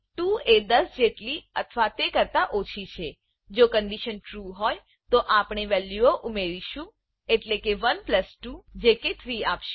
2 એ 10 જેટલી અથવા તે કરતા ઓછી છે જો કન્ડીશન ટ્રૂ હોય તો આપણે વેલ્યુંઓ ઉમેરીશું એટલેકે 1 પ્લસ 2 જે કે 3 આપશે